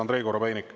Andrei Korobeinik.